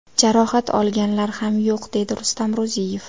Jarohat olganlar ham yo‘q, dedi Rustam Ro‘ziyev.